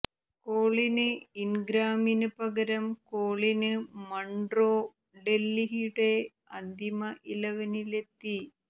കോളിന് ഇന്ഗ്രാമിന് പകരം Colin Munro ഡല്ഹിയുടെ അന്തിമ ഇലവനിലെത്തി